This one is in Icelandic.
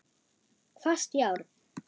Hvasst járn.